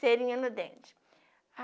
cerinha no dente.